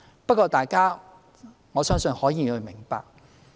不過，我相信各位議員可以明白。